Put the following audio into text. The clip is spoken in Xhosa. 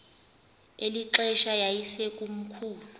eli xesha yayisekomkhulu